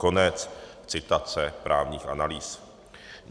Konec citace právních analýz.